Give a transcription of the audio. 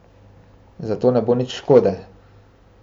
Zato ne bo nič škode.